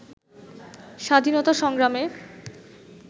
স্বাধীনতা সংগ্রামে